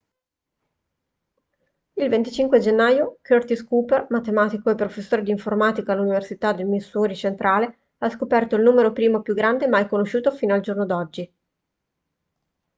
il 25 gennaio curtis cooper matematico e professore di informatica all'università del missouri centrale ha scoperto il numero primo più grande mai conosciuto fino al giorno d'oggi